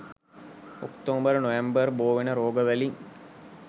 October නොවැම්බර් බෝවෙන රෝගවලින්